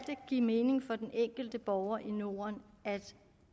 give mening for den enkelte borger i norden at